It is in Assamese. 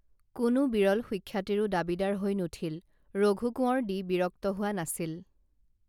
কোনো বিৰল সুখ্যাতিৰো দাবীদাৰ হৈ নুঠিল ৰঘু কোঁৱৰ দি বিৰক্ত হোৱা নাছিল